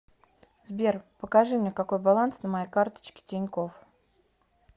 сбер покажи мне какой баланс на моей карточке тинькофф